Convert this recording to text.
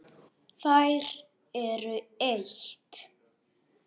Þær eru eitt.